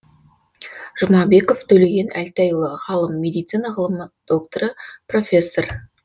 жұмабеков төлеген әлтайұлы ғалым медицина ғылым докторы профессор